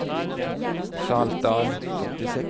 Saltdal